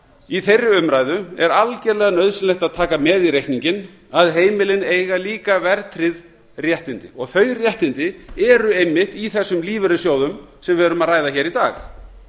í þeirri umræðu er algerlega nauðsynlegt að taka með í reikninginn að heimilin eiga líka verðtryggð réttindi þau réttindi eru einmitt í þessum lífeyrissjóðum sem við erum að ræða hér í dag